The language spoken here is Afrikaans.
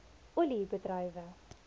olie bedrywe